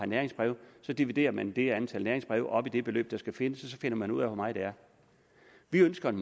næringsbrev og så dividerer man det antal næringsbreve op i det beløb der skal findes og så finder man ud af hvor meget det er vi ønsker en